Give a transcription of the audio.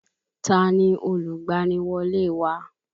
Ta ni olùgbaniwọlé wa?